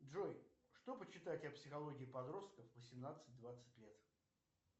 джой что почитать о психологии подростков восемнадцать двадцать лет